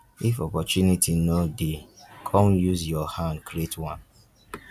if opportunity no de come use your hand create one